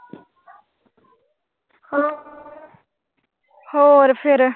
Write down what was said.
ਹਾਂ ਹੋਰ ਫੇਰ।